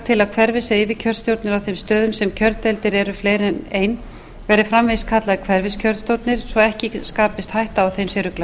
að hverfis eða yfirkjörstjórnir á þeim stöðum sem kjördeildir eru fleiri en ein verði framvegis kallaðar hverfiskjörstjórnir svo ekki skapist hætta á að þeim sé ruglað